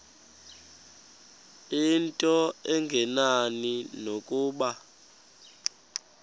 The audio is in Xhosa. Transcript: into engenani nokuba